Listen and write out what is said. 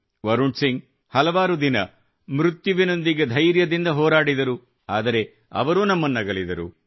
ವರುಣ್ ಸಿಂಗ್ ಹಲವಾರು ದಿನ ಮೃತ್ಯುವಿನೊಂದಿಗೆ ಧೈರ್ಯದಿಂದ ಹೋರಾಡಿದರು ಆದರೆ ಅವರೂ ನಮ್ಮನ್ನಗಲಿದರು